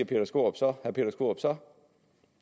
peter skaarup så så